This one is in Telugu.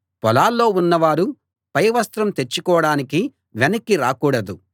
పొలాల్లో ఉన్నవారు పై వస్త్రం తెచ్చుకోడానికి వెనక్కి రాకూడదు